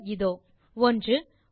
விடைகள் இதோ 1